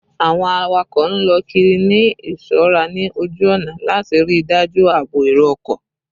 Awọn awakọ n lọ kiri ni iṣọra ni oju ọna lati rii daju aabo ero-ọkọ